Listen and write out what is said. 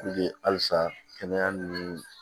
halisa kɛnɛya ni